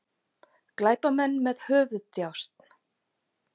Glæpamenn með höfuðdjásn